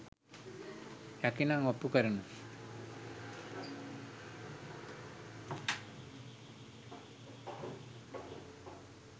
හැකිනම් ඔප්පු කරනු